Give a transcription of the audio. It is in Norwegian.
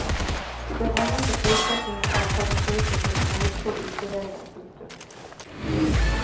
Den eneste forutsetningen er at farmasøyter skal forestå utleveringen. punktum